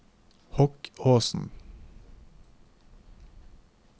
Hokkåsen